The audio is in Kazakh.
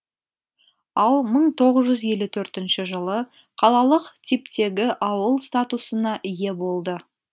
ал мың тоғыз жүз елу төртінші жылы қалалық типтегі ауыл статусына ие болды